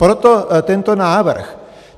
Proto tento návrh.